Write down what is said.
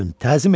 Diz çökün!